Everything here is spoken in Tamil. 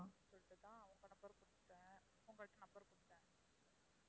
உங்கள்ட்ட தான் அவங்க number கொடுத்தேன் உங்கள்ட்ட number கொடுத்தேன்